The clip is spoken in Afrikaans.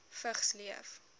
vigs leef